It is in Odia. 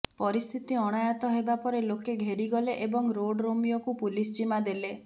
ପରିସ୍ଥିତି ଅଣାୟତ୍ତ ହେବା ପରେ ଲୋକେ ଘେରିଗଲେ ଏବଂ ରୋଡ୍ ରୋମିଓକୁ ପୋଲିସ ଜିମା ଦେଲେ